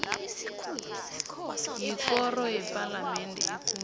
yikoro yepalamende ekulu